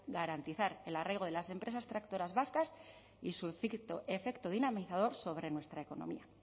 garantizar el arraigo de las empresas tractoras vascas y su efecto dinamizador sobre nuestra economía